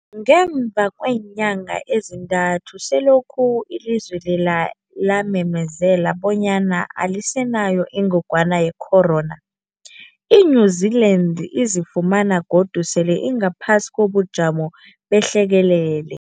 Ngemva kweenyanga ezintathu selokhu ilizwe lela lamemezela bonyana alisenayo ingogwana ye-corona, i-New-Zealand izifumana godu sele ingaphasi kobujamo behlekelele.